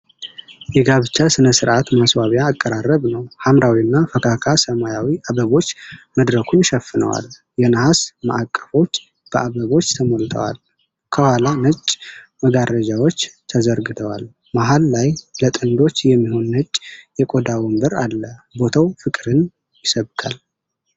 የጋብቻ ሥነ ሥርዓት ማስዋቢያ አቀራረብ ነው። ሐምራዊና ፈካካ ሰማያዊ አበቦች መድረኩን ሸፍነዋል። የነሐስ ማዕቀፎች በአበቦች ተሞልተዋል። ከኋላ ነጭ መጋረጃዎች ተዘርግተዋል። መሃል ላይ ለጥንዶች የሚሆን ነጭ የቆዳ ወንበር አለ። ቦታው ፍቅርን ይሰብካል።